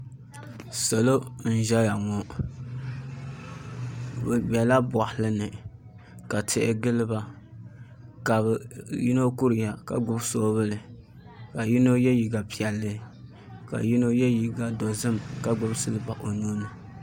Salo n ʒɛya ŋo bi biɛla boɣali ni ka tihi giliba ka bi yino kuriya ka gbubi soobuli ka yino yɛ liiga piɛlli ka yino yɛ liiga dozim ka gbubi silba o nuuni